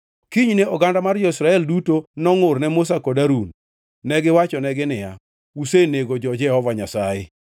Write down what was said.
Kinyne oganda mar jo-Israel duto nongʼurne Musa kod Harun. Negiwachonegi niya, “Usenego jo-Jehova Nyasaye.”